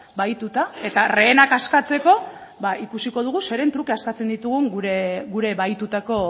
bahituta eta rehenak askatzeko ba ikusiko dugu zeren truke askatzen ditugun gure bahitutako